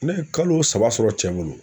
Ne ye kalo saba sɔrɔ cɛ bolo